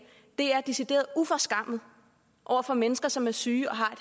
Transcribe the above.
her er decideret uforskammet over for mennesker som er syge og har